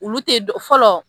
Olu tɛ fɔlɔ